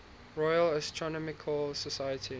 royal astronomical society